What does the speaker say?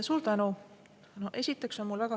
Suur tänu!